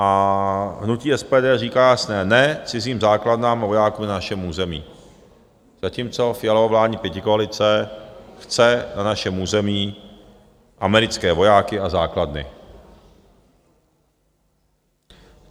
A hnutí SPD říká jasné ne cizím základnám a vojákům na našem území, zatímco Fialova vládní pětikoalice chce na našem území americké vojáky a základny.